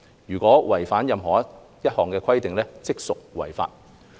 如有違反任何一項規定，即屬違法。